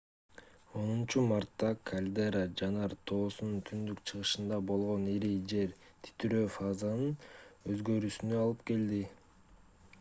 10-мартта кальдера жанар тоосунун түндүк-чыгышында болгон ири жер титирөө фазанын өзгөрүүсүнө алып келди